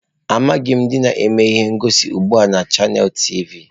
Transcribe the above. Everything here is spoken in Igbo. Amaghị m ndị na-eme ihe ngosi ugbu a na Chanels tivi.